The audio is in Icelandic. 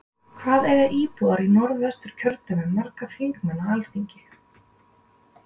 Hvað eiga íbúar í Norð-Vestur kjördæmi marga þingmenn á Alþingi?